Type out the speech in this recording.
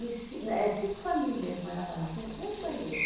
reci né eh cinco famílias morava lá, tinha um banheiro.